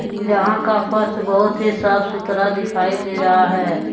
जहां का फर्श बहुत ही साफ सुथरा दिखाई दे रहा है।